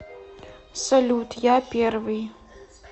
салют я первый